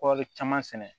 Kɔri caman sɛnɛ